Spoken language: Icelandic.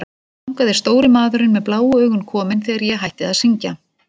Þangað er stóri maðurinn með bláu augun kominn þegar ég hætti að syngja.